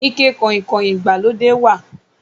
Ike kọ̀ìnkọ̀ìn ìgbàlódé wà